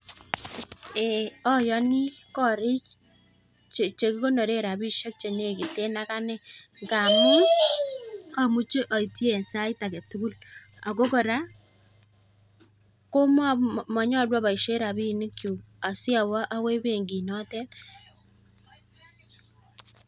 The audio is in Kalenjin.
Eee ayoni korik chekikonore rapimik chenekiten ak ane ngamun amuche aitchi en sait age tugul. Ako kora manyolu aboishe rapinikchu asi awo agoi benkinoto.